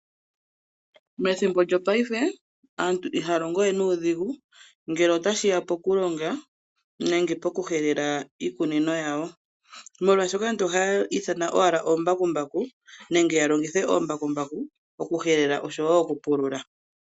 Methimbo lyopaife aantu ihaya longo we nuudhigu ngele otashi ya poku longa nenge pokuhelela iikunino yawo. Molwaashoka aantu ohaya ithana owala omambakumbaku nenge ya longithe oombakumbaku okuhelela oshowo okupulula.